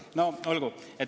No olgu.